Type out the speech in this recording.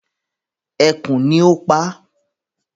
Ekú ni o paa